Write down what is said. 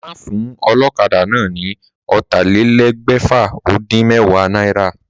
Má fún o̩ló̩kadà náà ni ó̩tàlélé̩gbè̩fà-ó-dín-mé̩wàá náírà!